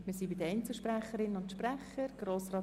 Wir kommen zu den Einzelsprecherinnen und -sprechern.